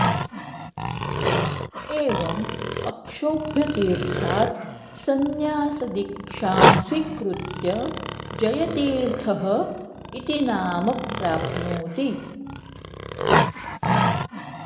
एवम् अक्षोभ्यतीर्थात् संन्यासदीक्षां स्वीकृत्य जयतीर्थः इति नाम प्राप्नोति